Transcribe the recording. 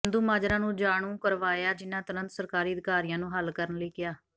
ਚੰਦੂਮਾਜਾਰਾ ਨੂੰ ਜਾਣੂ ਕਰਵਾਇਆ ਜਿਨ੍ਹਾਂ ਤੁਰੰਤ ਸਰਕਾਰੀ ਅਧਕਾਰੀਆਂ ਨੂੰ ਹੱਲ ਕਰਨ ਲਈ ਕਿਹਾ